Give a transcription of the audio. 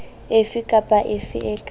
efe kapa efe e ka